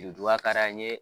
ka d'an ye